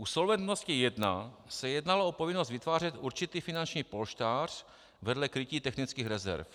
U Solventnosti I se jednalo o povinnost vytvářet určitý finanční polštář vedle krytí technických rezerv.